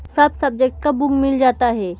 सब सब्जेक्ट का बुक मिल जाता है।